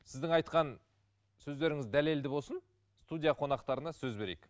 сіздің айтқан сөздеріңіз дәлелді болсын студия қонақтарына сөз берейік